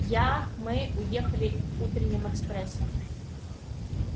я мы уехали утренним экспрессом